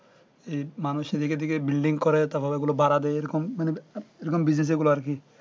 এই মানুষ দিকে দিকে bildingকরে তার পর ওগুলো ভাড়া দে এরকম মানে business আরকি